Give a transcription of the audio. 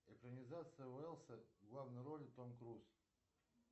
экранизация уэллса в главной роли том круз